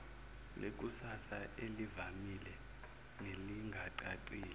lekusasa elivamile nelingacacile